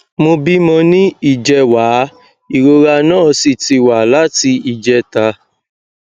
mo bímọ ní ìjẹwàá ìrora náà sì ti wà láti ìjẹta